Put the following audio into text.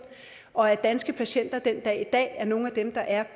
og at danske patienter den dag i dag er nogle af dem der er